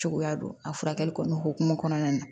Cogoya don a furakɛli kɔni hokumun kɔnɔna na